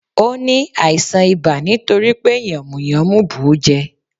Ò ní àìsàn ibà nítori pé yànmùyánmú bù ú jẹ